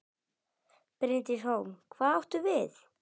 Bryndís Hólm: Hvað áttu við?